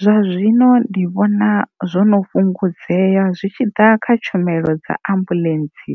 Zwa zwino ndi vhona zwo no fhungudzea zwi tshi ḓa kha tshumelo dza ambuḽentsi